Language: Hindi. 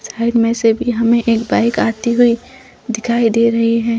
साइड मे से भी हमें एक बाइक आती हुई दिखाई दे रही है।